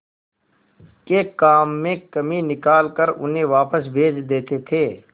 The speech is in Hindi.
के काम में कमी निकाल कर उन्हें वापस भेज देते थे